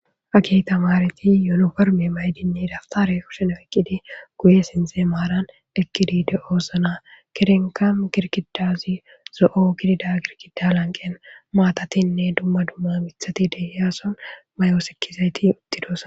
Hagey tammareti yuuniforme mayidinne dawutaare kushen oykidi guye sinthe maaran eqqidi de7oosona. gedenkka girgidazi zo7o gididi beettiza beettiza girgidda lanqqen maatatinne maatatinne dumma dumma miththati de7iyaason mayo sikkizayti uttidoosona.